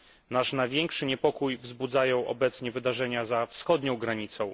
Nasz największy niepokój wzbudzają obecnie wydarzenia za wschodnią granicą.